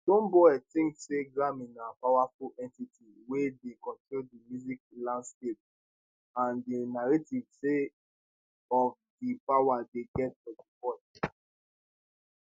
stonebwoy tink say grammy na powerful entity wey dey control di music landscape and di narrative sake of di power dey get for di world